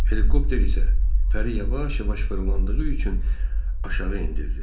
Helikopter isə pəri yavaş-yavaş fırlandığı üçün aşağı endirdi.